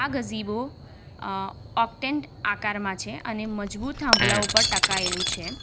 આ ગજીબો અં ઓકટેન્ટ આકારમાં છે. અને મજબૂત થાંભલા ઉપર ટકાયેલું છે.